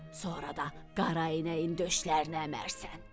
Sonra da qara inəyin döşlərini əmərsən.